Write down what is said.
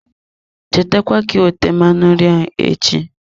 Cheta kwa ka iwete mmanụ nri ahụ echi.